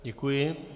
Děkuji.